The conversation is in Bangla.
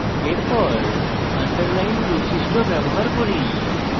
এরপর underline বৈশিষ্ট্য ব্যবহার করি